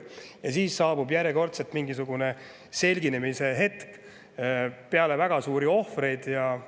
Ja siis saabub järjekordselt mingisugune selginemise hetk peale väga suurt ohvrite.